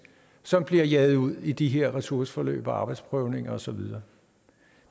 som bliver jaget ud i de her ressourceforløb og arbejdsprøvninger og så videre